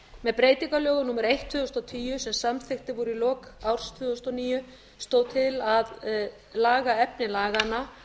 með breytingalögum númer eitt tvö þúsund og tíu sem samþykkt voru í lok árs tvö þúsund og níu stóð til að laga efni laganna